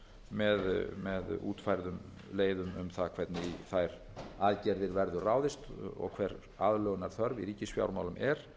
með útfærðum leiðum um það hvernig í þær aðgerðir verður ráðist hver aðlögunarþörf í ríkisfjármálum er